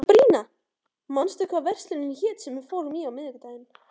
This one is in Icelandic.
Sabrína, manstu hvað verslunin hét sem við fórum í á miðvikudaginn?